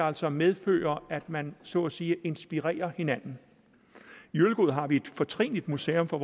altså medfører at man så at sige inspirerer hinanden i ølgod har vi et fortrinligt museum for